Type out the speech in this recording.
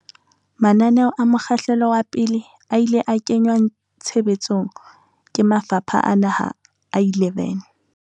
Mananeo a mokgahlelo wa pele a ile a kenngwa tshe betsong ke mafapha a naha a 11.